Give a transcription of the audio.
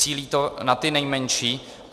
Cílí to na ty nejmenší.